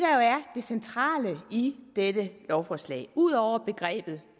centrale i dette lovforslag ud over begrebet